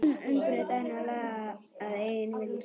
Umbreyta henni og laga að eigin vild?